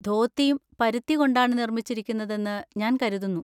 ധോത്തിയും പരുത്തി കൊണ്ടാണ് നിർമ്മിച്ചിരിക്കുന്നതെന്ന് ഞാൻ കരുതുന്നു.